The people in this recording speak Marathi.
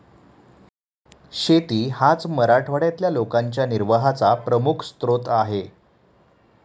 शेती हाच मराठवाड्यातल्या लोकांच्या निर्वाहाचा प्रमुख स्रोत आहे.